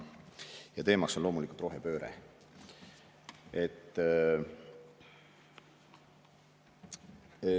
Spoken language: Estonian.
Teema on loomulikult rohepööre.